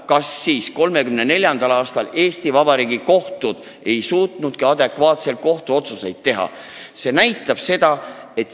Kas siis 1934. aastal Eesti Vabariigi kohtud ei suutnudki adekvaatseid otsuseid langetada?